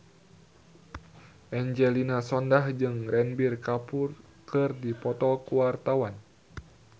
Angelina Sondakh jeung Ranbir Kapoor keur dipoto ku wartawan